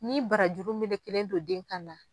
Ni barajuru melekelen don den kan na